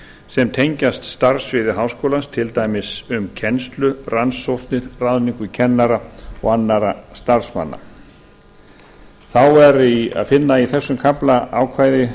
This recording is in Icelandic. sem tengjast starfssviði háskólans til dæmis um kennslu rannsóknir ráðningu kennara og annarra starfsmanna þá er að finna í þessum kafla ákvæði